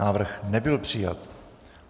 Návrh nebyl přijat.